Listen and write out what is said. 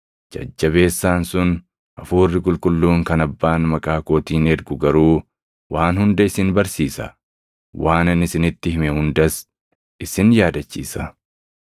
Jajjabeessaan sun, Hafuurri Qulqulluun kan Abbaan maqaa kootiin ergu garuu waan hunda isin barsiisa; waan ani isinitti hime hundas isin yaadachiisa.